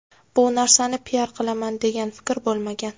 Bu narsani piar qilaman degan fikr bo‘lmagan.